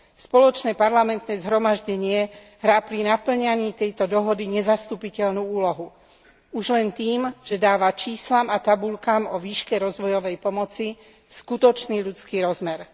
Spoločné parlamentné zhromaždenie hrá pri napĺňaní tejto dohody nezastupiteľnú úlohu už len tým, že dáva číslam a tabuľkám o výške rozvojovej pomoci skutočný ľudský rozmer.